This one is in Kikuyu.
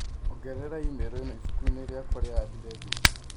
ongerera i-mīrū ĩno ibuku-inĩ rĩakwa rĩa andirethi